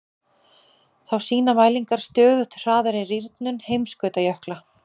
Þá sýna mælingar stöðugt hraðari rýrnun heimskautajökla.